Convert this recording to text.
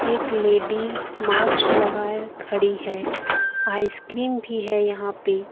एक ladies masks लगते खड़ी है आइसक्रीम भी है यहां पे।